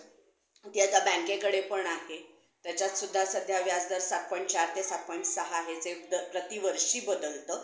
ती आता बँकेकडे पण आहे त्याच्यात पण आता व्याजदर सात point चार ते सात point सहा आहे जे प्रतिवर्षी बदलतं.